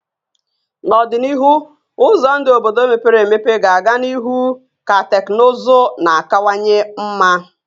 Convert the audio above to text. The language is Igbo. N'ọdịnihu, ụzọ ndụ obodo mepere emepe ga-aga n'ihu ka teknụzụ na-akawanye mma